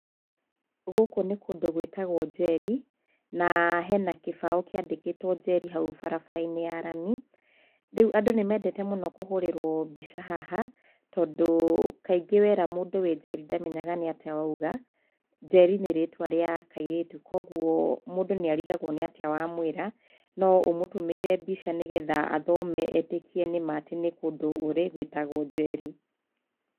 Gũkũ nĩ kũndũ gwĩtagwo Njeri na hena gĩbaũ kĩandĩkĩtwo Njeri hau bara-inĩ ya rami. Rĩu andũ nĩ mendete mũno kũhũrĩrwo mbica haha tondũ kaingĩ wera mũndũ wĩ Njeri ndamenyaga nĩ atĩa wa uga. Njeri nĩ rĩtwa rĩa kairĩtu koguo mũndũ nĩ arigagwo nĩ atĩa wa mwĩra, no ũmũtũmĩire mbica nĩgetha athome etĩkie nĩ ma nĩ kũndũ ũrĩ gwĩtagwo Njeri.